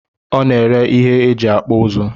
O na-ere ihe e ji akpụ uzu